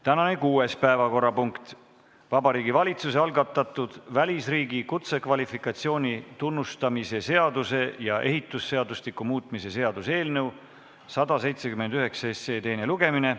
Tänane kuues päevakorrapunkt on Vabariigi Valitsuse algatatud välisriigi kutsekvalifikatsiooni tunnustamise seaduse ja ehitusseadustiku muutmise seaduse eelnõu 179 teine lugemine.